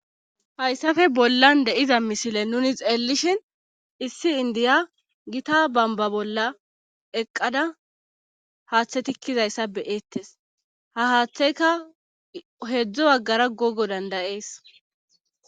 Hayssafe bollan deiza misile nuni xeellishin issi indiya gita bamba bolla eqqada haaththe tikkizayssa beyeettes ha haaththeyka heedzdzo baggara gogo dandayees.